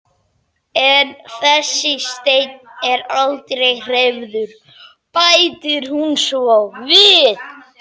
En þessi steinn er aldrei hreyfður, bætir hún svo við.